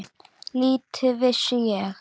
Lítið vissi ég.